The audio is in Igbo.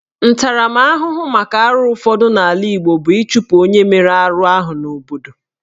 Ntaramahụhụ maka arụ ụfọdụ n'ala Igbo bụ ịchụpụ onye mere arụ ahụ n'obodo